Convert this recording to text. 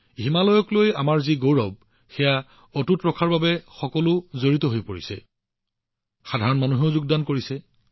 আমি গৌৰৱান্বিত যে হিমালয়ৰ যত্ন লোৱা হৈছে আৰু ইয়াক সংৰক্ষণ কৰা হৈছে সাধাৰণ মানুহেও জড়িত হৈছে